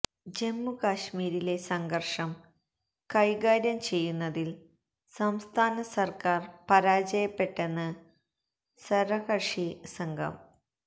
ജമ്മു കശ്മീരിലെ സംഘര്ഷം കൈകാര്യം ചെയ്യുന്നതില് സംസ്ഥാന സര്ക്കാര് പരാജയപ്പെപ്പെട്ടെന്ന് സര്വകക്ഷി സംഘം